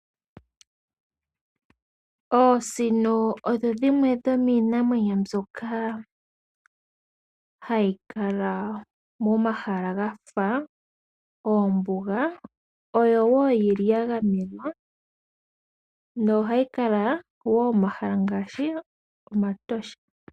Oosino odho dhimwe dhomiinamwenyo mboka ha yi kala momahala gafa oombuga, dho odha gamenwa. Oto dhi adha miikunino yiinamwenyo ngaashi mEtosha.